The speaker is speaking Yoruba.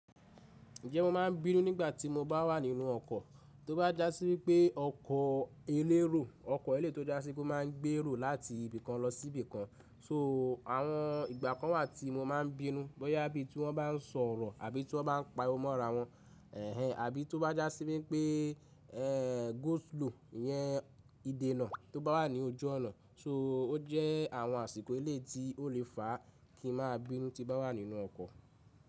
Ǹjẹ́ mo máa ń bínú nígbà tí mo bá wà nínú ọkọ̀? Tó bá jásí wípé ọkọ eléérò, ọkọ̀ elé to já síbí máa ń gbé èrò láti ibìkan lọsí ibìkan. So àwọn ìgbà kan wà tí mo máa ń bínú, bóyá bí tí wọ́n bá n sọ̀rọ̀ àbí tí wọ́n bá n pa omo ara wọn. Ẹ̀hẹn, àbí tó bá jásí wípé, eeh, go slow yẹn ìdènà tó bá wà ní ojú ọnà. So ó jẹ́ àwọn àsìkò elé tí ó lè fà kí n máa bínú tí bá wà nínú ọkọ̀